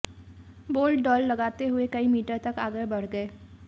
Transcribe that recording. bolt दौड़ लगाते हुए कई मीटर तक आगे बढ़ गए